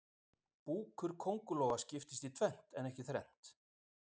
búkur kóngulóa skiptist í tvennt en ekki þrennt